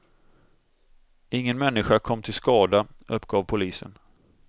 Ingen människa kom till skada, uppgav polisen.